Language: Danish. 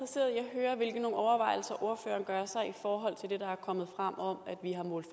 høre hvilke overvejelser ordføreren gør sig i forhold til det der er kommet frem om at vi har målt